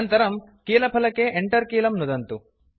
अनन्तरं कीलफलके Enter कीलं नुदन्तु